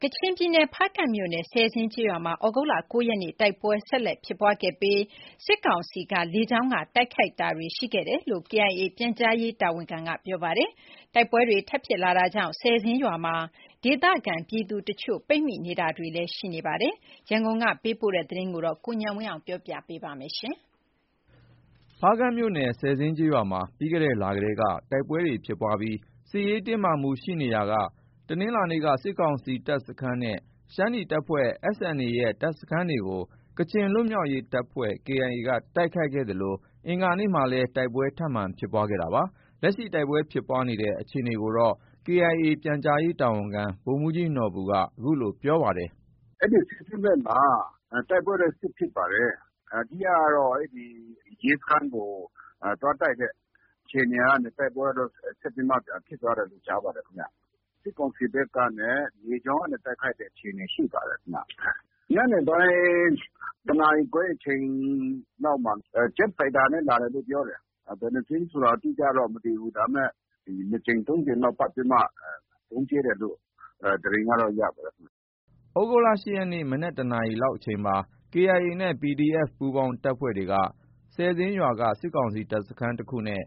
ကချင်ပြည်နယ် ဖားကန့်မြို့နယ် ဆယ်ဇင်းကျေးရွာမှာ သြဂုတ်လ(၉)ရက်နေ့ တိုက်ပွဲဆက်လက်ဖြစ်ပွားခဲ့ပြီး စစ်ကောင်စီတပ်က လေကြောင်းက တိုက်ခိုက်တာတွေ ရှိခဲ့ကြောင်း KIA ပြန်ကြားရေးတာဝန်ခံက ပြောပါတယ်။ တိုက်ပွဲတွေ ထပ်ဖြစ်လာတာကြောင့် ဆယ်ဇင်းရွာမှာ ဒေသခံပြည်သူအချို့ ပိတ်မိနေတာတွေလည်း ရှိနေပါတယ်။ ရန်ကုန်ကလာတဲ့ ကချင်ပြည်နယ်က သတင်းကိုတော့ ကိုဉာဏ်ဝင်းအောင်က ပြောပြပါမယ်။ ဖားကန့်မြို့နယ် ဆယ်ဇင်းကျေးရွာမှာ ပြီးခဲ့တဲ့လတည်းက တိုက်ပွဲဖြစ်ပွားပြီး စစ်ရေးတင်းမာမှုတွေ ရှိနေရာက တနင်္လာနေ့က စစ်ကောင်စီတပ်စခန်းနဲ့ ရှမ်းနီတပ်ဖွဲ့ SNA ရဲ့ တပ်စခန်းတွေကို ကချင်လွတ်မြောက်ရေးတပ်ဖွဲ့ KIA က တိုက်ခိုက်ခဲ့သလို အင်္ဂါနေ့မှာလည်း တိုက်ပွဲ ထပ်မံဖြစ်ပွားခဲ့တာပါ။ လက်ရှိ တိုက်ပွဲဖြစ်ပွားတဲ့ အခြေအနေကို KIA ပြန်ကြားရေးတာဝန်ခံ ဗိုလ်မှုးကြီးနော်ဘူက VOA ကို အခုလို ပြောပါတယ်။ “ အဲဒီ ဆယ်ဇင်းဘက်မှာ တိုက်ပွဲတော့ ဆက်ဖြစ်ပါတယ်။ အဓိကကတော့ ရဲစခန်းကို သွားတိုက်တဲ့ အခြေအနေကနေ တိုက်ပွဲကတော့ ဆက်ပြီးမှ ပြန်ဖြစ်တယ်လို့ ကြားပါတယ်ခင်ဗျ။ စစ်ကောင်စီဘက်ကနေ လေကြောင်းကနေ တိုက်ခိုက်တဲ့အခြေအနေ ရှိပါတယ်ခင်ဗျ။ ညနေပိုင်း ၁နာရီခွဲအချိန်လောက်မှာ Jet Fighter နဲ့ လာတယ်လို့ ပြောတယ်။ ဘယ်နှစ်စင်းဆိုတာ အတိအကျတော့ မသိဘူး။ ဒါပေမဲ့ ၂ကြိမ်။ ၃ကြိမ်လောက် ပတ်ပြီးမှ ဗုံးကြဲတယ်လို့ သတင်းကတော့ ရပါတယ်ခင်ဗျ။ ” သြဂုတ်လ ၈ရက်နေ့ မနက် ၁နာရီအချိန်လောက်မှာ KIA နဲ့ PDF ပူးပေါင်းတပ်ဖွဲ့တွေက ဆယ်ဇင်းရွာက စစ်ကောင်စီတပ်စခန်း တစ်ခုနဲ့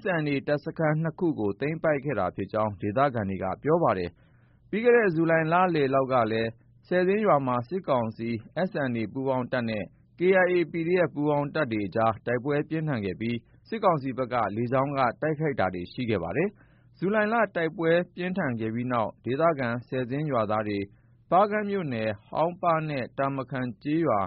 SNA တပ်စခန်း ၂ခုကို သိမ်းပိုက်ခဲ့တာဖြစ်ကြောင်း ဒေသခံတွေက ပြောပါတယ်။ ပြီးခဲ့တဲ့ ဇူလိုင်လလည်ပိုင်းလောက်လည်း ဆယ်ဇင်းရွာမှာ စစ်ကောင်စီ၊ SNA ပူးပေါင်းတပ်နဲ့ KIA၊ PDF ပူးပေါင်းတပ်တွေအကြား တိုက်ပွဲပြင်းထန်ခဲ့ပြီး စစ်ကောင်စီဘက်က လေကြောင်းက တိုက်ခိုက်တာတွေ ရှိခဲ့ပါတယ်။ ဇူလိုင်လ တိုက်ပွဲပြင်းထန်ခဲ့တဲ့နောက် ဒေသခံ ဆယ်ဇင်းရွာသားတွေဟာ ဖားကန့်မြို့နယ် ဟောင်ပါးနဲ့ တာမခန်ကျေးရွာ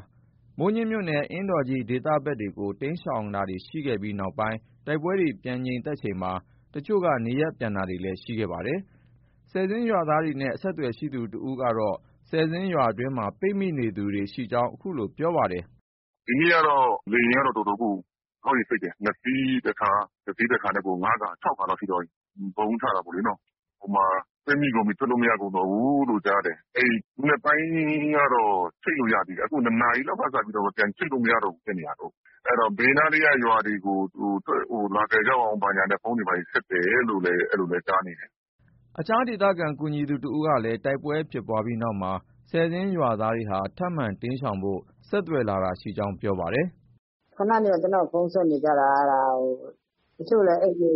၊ မိုးညှင်းမြို့နယ် အင်းတော်ကြီး ဒေသဘက်တွေကို တိမ်းရှောင်တာတွေ ရှိခဲ့ပြီး နောက်ပိုင်းတိုက်ပွဲတွေ ပြန်ငြိမ်သက်ချိန်မှာ အချို့က နေရပ်ပြန်တာတွေလည်း ရှိခဲ့ပါတယ်။ ဆယ်ဇင်းရွာသားတွေနဲ့ အဆက်အသွယ်ရှိသူ တစ်ဦးကတော့ ဆယ်ဇင်းရွာတွင်းမှာ ပိတ်မိနေသူတွေ ရှိကြောင်း အခုလို ပြောပါတယ်။ “ ဒီနေ့ကတော့ လေယာဉ်ကတော့ တော်တော်ကို ခေါက်ရေ စိပ်တယ်။ ၂စီးတစ်ခါ။ တစီးတခါနဲ့ကို ၅ခါ။ ၆ခါလောက်ရှိသွားပြီ။ ဗုံးချတာလေနော။ ဟိုမှာ ပိတ်မိကုန်ပြီ ထွက်လို့ မရကုန်တော့ဘူးလို့ ကြားတယ်။ အဲဒီ မနက်ပိုင်းကတော့ ချိတ်လို့ ရသေးတယ်။ အခု ၂နာရီလောက်က စပြီး ပြန်ချိတ်လို့ မရဘူးဖြစ်နေတာ။ အဲတော့ ဘေးနားလေးက ရွာတွေကို လာကယ်ကြပါအုံးဆိုပြီး ဖုန်းတွေ ဘာတွေ ဆက်တယ်လို့လည်း ကြားနေတယ်။” အခြား ဒေသခံ ကူညီသူ တဦးကလည်း တိုက်ပွဲဖြစ်ပွားပြီးနောက်မှာ ဆယ်ဇင်းရွာသားတွေဟာ ထပ်မံတိမ်းရှောင်ဖို့ ဆက်သွယ်လာတာတွေ ရှိနေကြောင်း ပြောပါတယ်။ “ ခုနနေက ကျနော့်ကို ဖုန်းဆက်နေကြတာ။ တချို့လည်း အိမ်တွေ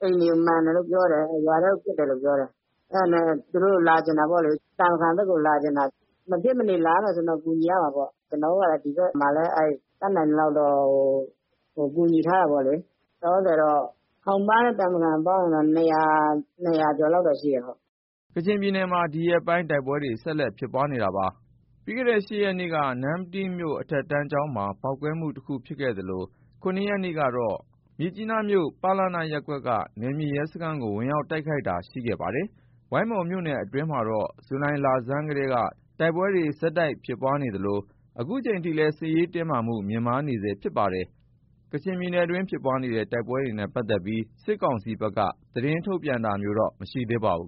ကို မှန်တယ်လို့ ပြောတယ်။ ရွာထဲကို ပစ်တယ်လို့ ပြောတယ်။ အဲဒါနဲ့ သူတို့ လာချင်တာပေါ့လေ။ တာမခန်ဘက်ကို လာချင်တာ။ မဖြစ်မနေလာရမယ်ဆိုရင်တော့ ကူညီရမှာပေါ့။ ကျနော်တို့ကလည်း ဒီဘက်မှာလည်း တတ်နိုင်သလောက်တော့ ကူညီထားတာပေါ့လေ။ ဟောင်းပါးနဲ့ တာမခန်ပေါင်းရင်တော့ လောလောဆည်တော့ ၂၀၀ကျော်လောက်တော့ ရှိတယ်။ ” ကချင်ပြည်နယ် ဒီရက်ပိုင်း တိုက်ပွဲတွေ ဆက်တိုက်ဖြစ်ပွားနေတာပါ။ ပြီးခဲ့တဲ့ ၈ရက်နေ့က နမ္မတီးမြို့ အထက်တန်းကျောင်းမှာ ပေါက်ကွဲမှုတစ်ခုဖြစ်ခဲ့သလို ၇ရက်နေ့ကတော့ မြစ်ကြီးနားမြို့ ပလန ရပ်ကွက်က နယ်မြေရဲစခန်းကို ဝင်ရောက်တိုက်ခိုက်တာတွေ ရှိခဲ့ပါတယ်။ ဝိုင်းမော်မြို့နယ်အတွင်းမှာတော့ ဇူလိုင်လဆန်းကတည်းက တိုက်ပွဲတွေ ဆက်တိုက်ဖြစ်ပွားနေသလို အခုချိန်ထိလည်း စစ်ရေးတင်းမာမှုတွေ မြင့်တက်နေဆဲရှိနေပါတယ်။ ကချင်ပြည်နယ်တွင်း ဖြစ်ပွားတဲ့ တိုက်ပွဲတွေနဲ့ ပတ်သက်ပြီး စစ်ကောင်စီဘက်က သတင်းထုတ်ပြန်တာ မရှိသေးပါဘူး။